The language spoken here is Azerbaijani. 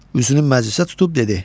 Üzünü məclisə tutub dedi: